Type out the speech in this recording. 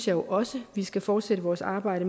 jo også at vi skal fortsætte vores arbejde